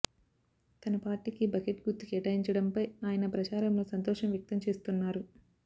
తన పార్టీకి బకెట్ గుర్తు కేటాయించడంపై ఆయన ప్రచారంలో సంతోషం వ్యక్తం చేస్తున్నారు